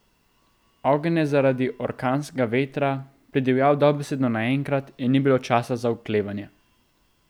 Ogenj je zaradi orkanskega vetra pridivjal dobesedno naenkrat in ni bilo časa za oklevanje.